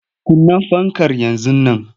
Kunna fankar yanzu nan!